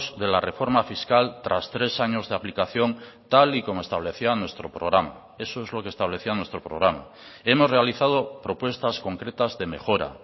de la reforma fiscal tras tres años de aplicación tal y como establecía nuestro programa eso es lo que establecía nuestro programa hemos realizado propuestas concretas de mejora